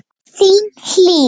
Þín Hlín.